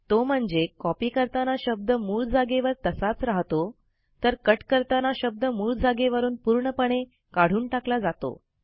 तो म्हणजे कॉपी करताना शब्द मूळ जागेवर तसाच राहतो तर कट करताना शब्द मूळ जागेवरून पूर्णपणे काढून टाकला जातो